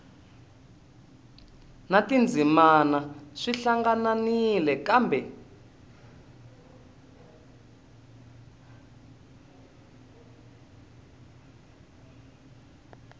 na tindzimana swi hlangahlanganile kambe